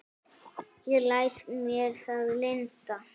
Ég læt mér það lynda.